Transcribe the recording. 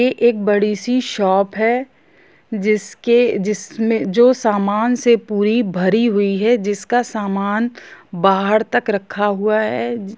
एक बड़ी सी शॉप है जिसके जिस मे जो सामान से पूरी भरी हुई है जिसका सामान बाहर तक रखा हुआ है।